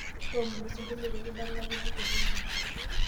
toomonu osingolio pee kidalakini te eredio